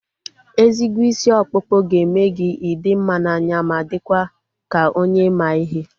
Ezigbo isi ọkpụkpụ ga-eme gị ị dị mma n'anya ma dịkwa ka onye ma ihe